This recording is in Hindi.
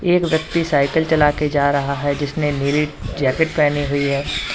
एक व्यक्ति साइकिल चला के जा रहा है जिसने नीली जैकेट पहनी हुई है।